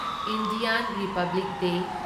Indian republic day